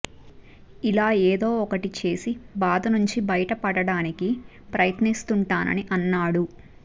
ఇలా ఏదో ఒకటి చేసి బాధ నుంచి బయటపడటానికి ప్రయత్నిస్తుంటాని అన్నాడు